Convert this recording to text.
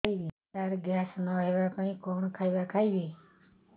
ସାର gas ନ ହେବା ପାଇଁ କଣ ଖାଇବା ଖାଇବି